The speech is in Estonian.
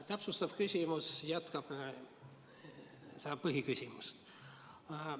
Täpsustav küsimus jätkab seda põhiküsimust.